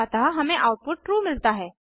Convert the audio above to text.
अतः हमें output true मिलता है